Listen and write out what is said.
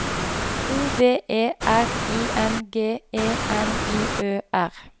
O V E R I N G E N I Ø R